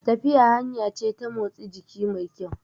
Tafiya hanya ce ta motsi jiki mai kyau